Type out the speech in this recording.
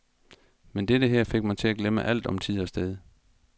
Men dette her fik mig til at glemme alt om tid og sted.